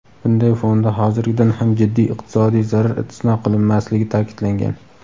Bunday fonda hozirgidan ham jiddiy iqtisodiy zarar istisno qilinmasligi ta’kidlangan.